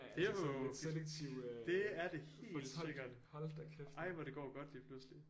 Det er jo det er det helt sikkert ej hvor det går godt lige pludselig